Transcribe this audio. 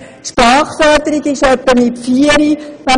Die Sprachförderung geschieht etwa mit vier Jahren.